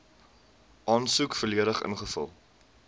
aansoek volledig ingevul